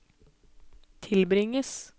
tilbringes